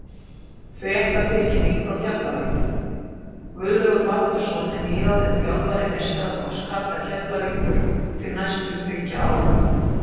Fréttatilkynning frá Keflavík: Guðlaugur Baldursson er nýráðinn þjálfari meistaraflokks karla Keflavíkur til næstu þriggja ára.